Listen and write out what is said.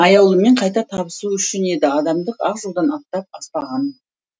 аяулыммен қайта табысу үшін еді адамдық ақ жолдан аттап аспағам